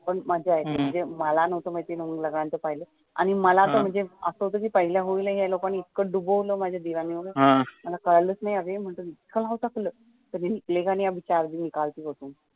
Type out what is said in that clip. पण मजा येते मला न्हवत माहित पहिल्या होळीला मला तर पहिल्या होळीला एवढ डुबवलं माझ्या दिरांनी वगैरे मला कळालच नाही अरे इतकं नाव टाकलं की